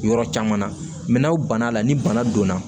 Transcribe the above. Yɔrɔ caman na mɛ n'aw banna ni bana donna